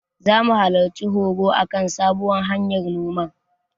Zamu halarci horo a kan sabuwar hanyar noman.